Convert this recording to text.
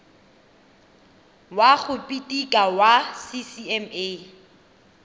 wa go phiketa wa ccma